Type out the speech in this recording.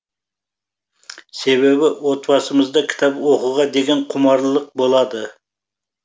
себебі отбасымызда кітап оқуға деген құмарлылық болады